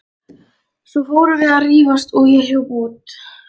Svo fórum við að rífast og ég hljóp út.